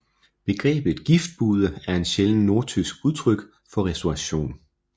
Begrebet Giftbude er en sjælden nordtysk udtryk for restauration